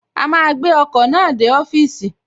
A máa gbé ọkọ̀ náà dé ọ́fìsì